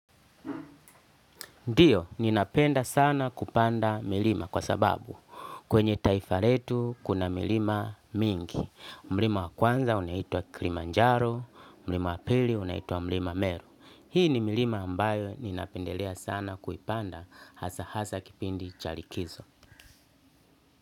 Ndiyo, ninapenda sana kupanda milima kwa sababu kwenye taifa letu kuna milima mingi. Mlima wa kwanza unaitwa kilimanjaro, mlima wa pili unaitwa mlima meru. Hii ni milima ambayo ninapendelea sana kuipanda hasa hasa kipindi cha likizo.